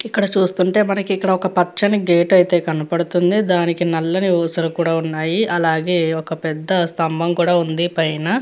ఇక్కడ చూస్తుంటే మనకి ఇక్కడ ఒక పచ్చని గేట్ అయితే కనబడుతుంది. దానికి నల్లని ఊసలు కూడా ఉన్నాయి. అలాగే ఒక పెద్ద స్తంభం కూడా ఉంది పైన --